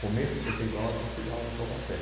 começo de setenta e nove eu fui dar aula em Taubaté.